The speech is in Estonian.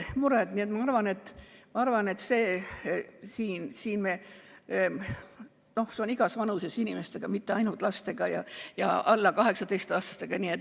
See on nii igas vanuses inimestega, mitte ainult lastega, alla 18-aastastega.